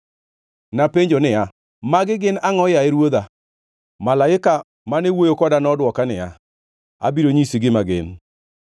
Napenjo niya, “Magi gin angʼo, yaye ruodha?” Malaika mane wuoyo koda nodwoka niya, “Abiro nyisi gima gin.”